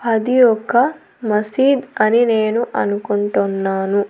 అది ఒక మసీద్ అని నేను అనుకుంటున్నాను.